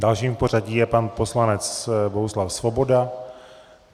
Dalším v pořadí je pan poslanec Bohuslav Svoboda.